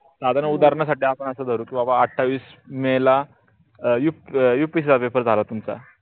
साधारण उदहरण साठी आपण अस धरू आठावीस मे ला upsc पेपर झाला तुमचा.